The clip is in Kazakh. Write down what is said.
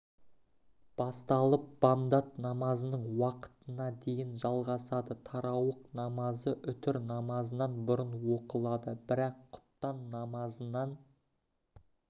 басталып бамдат намазының уақытына дейін жалғасады тарауых намазы үтір намазынан бұрын оқылады бірақ құптан намазынан